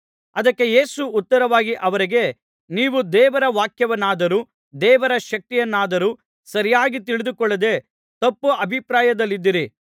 ಅದಕ್ಕೆ ಯೇಸು ಉತ್ತರವಾಗಿ ಅವರಿಗೆ ನೀವು ದೇವರ ವಾಕ್ಯವನ್ನಾದರೂ ದೇವರ ಶಕ್ತಿಯನ್ನಾದರೂ ಸರಿಯಾಗಿ ತಿಳಿದುಕೊಳ್ಳದೆ ತಪ್ಪು ಅಭಿಪ್ರಾಯದಲ್ಲಿದ್ದೀರಿ